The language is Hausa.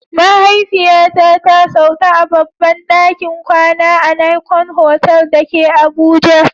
Mahaifiyata ta sauka a babban dakin kwana a Nicon Hotel da ke Abuja